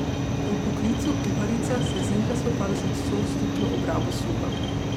Po poklicu kuharica se Zinka spopada s stoodstotno obrabo sluha.